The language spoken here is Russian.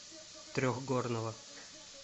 трехгорного